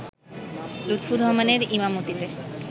লুৎফর রহমানের ঈমামতিতে